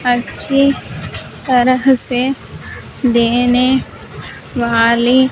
अच्छी तरह से देने वाली--